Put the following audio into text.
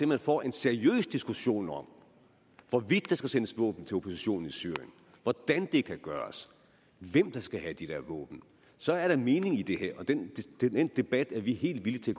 man får en seriøs diskussion om hvorvidt der skal sendes våben til oppositionen i syrien hvordan det kan gøres hvem der skal have de der våben så er der mening i det her og den den debat er vi helt villige